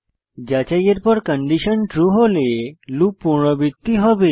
যাচাইয়ের পর condition true হলে লুপ পুনরাবৃত্তি হবে